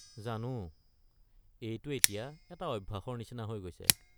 জানো, এইটো এতিয়া এটা অভ্যাসৰ নিচিনা হৈ গৈছে।